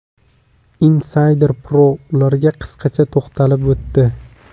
Insider Pro ularga qisqacha to‘xtalib o‘tdi .